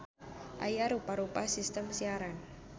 Aya rupa-rupa sistem siaran.